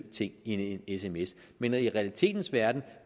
ting i en sms men i realiteternes verden